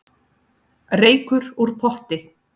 Reykur úr potti